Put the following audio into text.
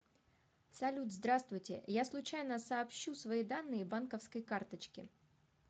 салют здравствуйте я случайно сообщу свои данные банковской карточки